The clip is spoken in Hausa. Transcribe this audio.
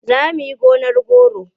Za mu yi gonar goro.